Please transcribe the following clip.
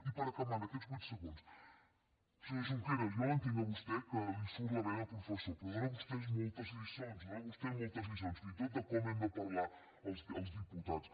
i per acabar en aquests vuit segons senyor junqueras jo l’entenc a vostè que li surt la vena professor però dóna vostè moltes lliçons dóna vostè moltes lliçons fins i tot de com hem de parlar els diputats